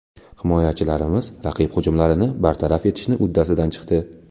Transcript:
Himoyachilarimiz raqib hujumlarini bartaraf etishni uddasidan chiqdi.